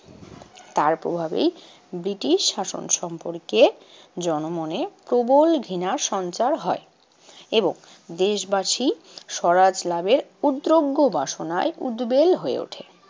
তার প্রভাবেই ব্রিটিশ শাসন সম্পর্কে জনমনে প্রবল ঘৃণা সঞ্চার হয় এবং দেশবাসী সরাজ লাভের উদ্রগ্য বাসনায় উদ্বেল হয়ে ওঠে।